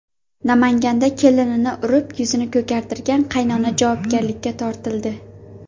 Namanganda kelinini urib, yuzini ko‘kartirgan qaynona javobgarlikka tortildi.